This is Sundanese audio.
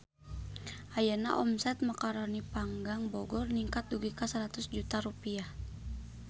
Ayeuna omset Macaroni Panggang Bogor ningkat dugi ka 100 juta rupiah